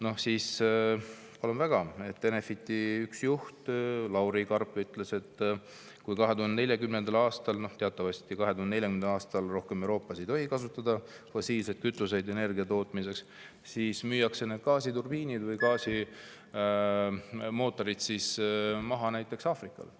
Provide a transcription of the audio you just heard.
Noh, palun väga, üks Enefiti juhte Lauri Karp ütles, et 2040. aastal teatavasti Euroopas enam ei tohi fossiilseid kütuseid energia tootmiseks kasutada ja siis müüakse need gaasiturbiinid maha näiteks Aafrikale.